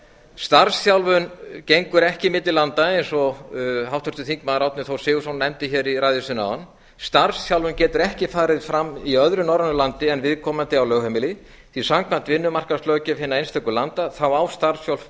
starfsþjálfun gengur ekki milli landa eins og háttvirtur þingmaður árni þór sigurðsson nefndi hér í ræðu sinni áðan starfsþjálfun getur ekki farið fram í öðru norrænu landi en viðkomandi á lögheimili því samkvæmt vinnumarkaðslöggjöf hinna einstöku landa á